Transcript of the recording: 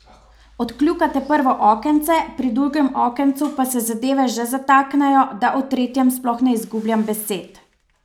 Odkljukate prvo okence, pri drugem okencu pa se zadeve že zataknejo, da o tretjem sploh ne izgubljam besed.